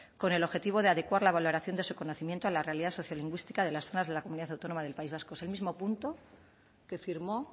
con el objetivo de adecuar la valoración de su conocimiento a la realidad sociolingüística de las zonas de la comunidad autónoma del país vasco es el mismo punto que firmó